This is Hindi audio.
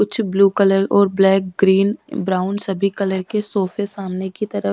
कुछ ब्लू कलर और ब्लैक ग्रीन ब्राउन सभी कलर के सोफे सामने की तरफ।